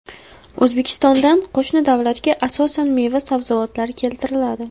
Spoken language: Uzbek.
O‘zbekistondan qo‘shni davlatga asosan meva-sabzavotlar keltiriladi.